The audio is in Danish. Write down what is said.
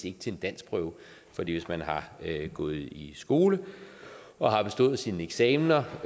ikke til en danskprøve for hvis man har gået i skole og har bestået sine eksamener